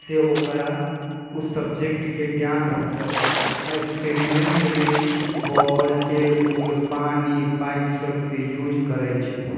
से ओकरा उ सब्जेक्ट के ज्ञान होतइ। अ एक्सपेरिमेंट में बॉल टेबुल पानी पाइप सब के यूज़ करइ छई।